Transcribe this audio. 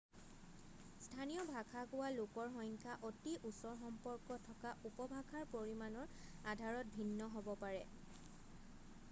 স্থানীয় ভাষা কোৱা লোকৰ সংখ্যা অতি ওচৰ সম্পৰ্ক থকা উপভাষাৰ পৰিমানৰ আধাৰত ভিন্ন হ'ব পাৰে